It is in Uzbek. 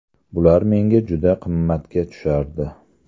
Bular menga juda qimmatga tushardi.